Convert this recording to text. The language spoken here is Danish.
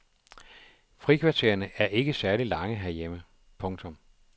Frikvartererne er ikke særlig lange herhjemme. punktum